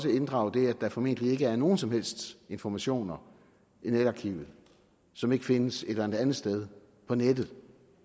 inddrage det at der formentlig ikke er nogen som helst informationer i netarkivet som ikke findes et eller andet sted på nettet